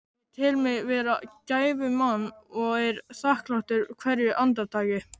Ég tel mig vera gæfumann og er þakklátur hverju andartaki.